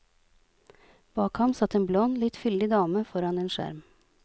Bak ham satt en blond, litt fyldig dame foran en skjerm.